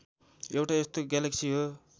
एउटा यस्तो ग्यालेक्सी हो